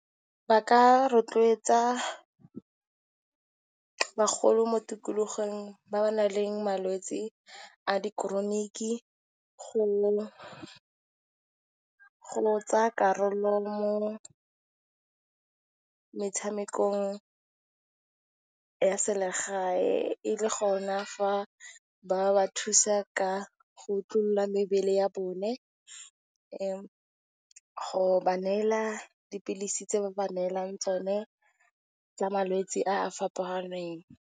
Ba ka rotloetsa bagolo mo tikologong ba ba nang le malwetsi a di chronic go tsaya karolo mo metshamekong ya selegae, e le gona fa ba ba thusa ka go otlolla mebele ya bone, go ba neela dipilisi tse ba neelang tsone tsa malwetse a a fapaneng.